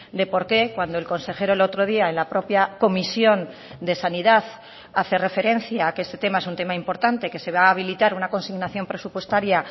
de por qué cuando el consejero el otro día en la propia comisión de sanidad hace referencia a que este tema es un tema importante que se va a habilitar una consignación presupuestaria